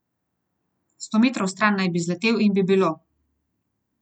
Sto metrov stran naj bi zletel in bi bilo.